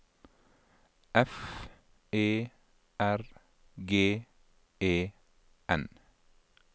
F E R G E N